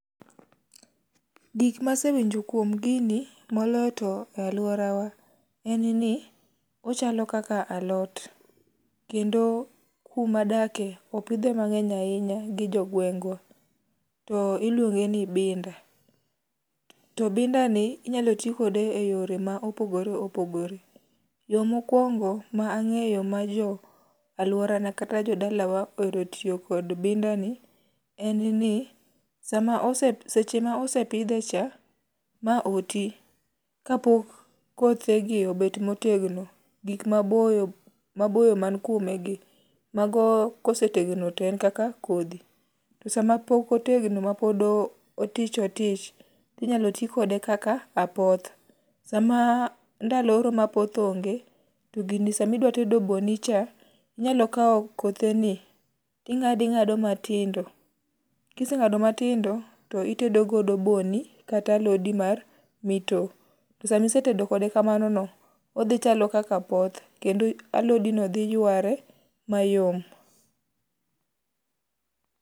Gik ma asewinjo kuom gini, moloyo to e alworawa, en ni ochalo kaka alot, kendo kuma adake, opidhe mangény ahinya gi jo gweng'go. To iluonge ni binda. To binda ni inyalo ti kode e yore ma opogore opogore. Yo mokwongo ma angéyo ma jo alworana kata jo dalawa ohero tiyo kod binda ni, en ni, sama ose, seche ma osepidhe cha, ma oti, ka pok kothe gi obet motegno, gik maboyo, maboyo mani kuome gi. Mago ka osetegno to en kaka kodhi. To sama pok otegno pod otich otich, to inyalo ti kode kaka apoth. Sama ndalo oro ma apoth onge, to gini sama idwa tedo bo ni cha, to inyalo kawo kothe ni, to ingádo ingádo matindo. Kisengádo matindo to itedo godo bo ni, kata alodi mar mito. To sama isetedo kode kamano no odhichalo kaka apoth, kendo alodi no dhi yware mayom.